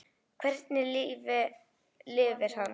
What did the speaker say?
Hvernig lífi lifir hann?